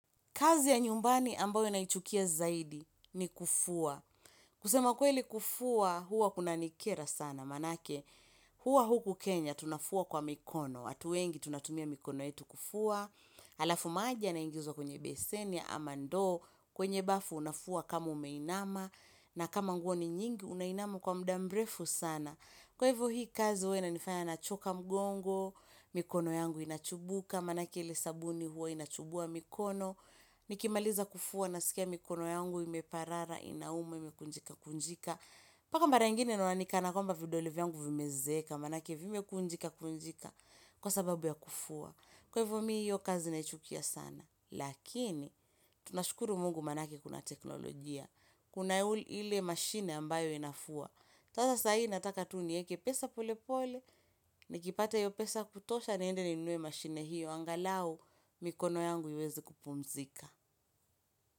Kazi ya nyumbani ambayo naichukia zaidi ni kufua kusema kweli kufua huwa kunanikera sana Maanake huwa huku Kenya tunafua kwa mikono watu wengi tunatumia mikono yetu kufua Alafu maji yanaingizwa kwenye beseni ama ndoo kwenye bafu unafua kama umeinama na kama nguo ni nyingi unainama kwa muda mrefu sana Kwa hivo hii kazi huwa inifanya nachoka mgongo mikono yangu inachubuka maanake ile sabuni huwa inachubua mikono Nikimaliza kufua nasikia mikono yangu imeparara inauma imekunjika kunjika mpaka mara ingine naona ni kana kwamba vidole yangu vimezeeka maanake vimekunjika kunjika Kwa sababu ya kufua. Kwa hivo mimi hiyo kazi naichukia sana Lakini tunashukuru mungu maanake kuna teknolojia Kuna ile mashine ambayo inafua tena saa hii nataka tu nieke pesa polepole Nikipata hiyo pesa ya kutosha niende ninunue mashine hiyo angalau mikono yangu iweze kupumzika.